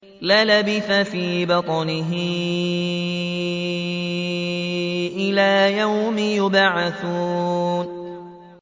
لَلَبِثَ فِي بَطْنِهِ إِلَىٰ يَوْمِ يُبْعَثُونَ